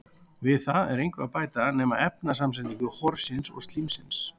Við það er engu að bæta nema um efnasamsetningu horsins eða slímsins.